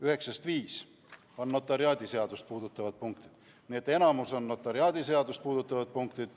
Üheksast viis on notariaadiseadust puudutavad punktid, nii et enamik on notariaadiseadust puudutavad punktid.